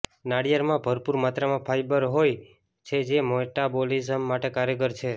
નાળિયેરમાં ભરપૂર માત્રામાં ફાઇબર હોય છે જે મેટાબોલિઝમ માટે કારગર છે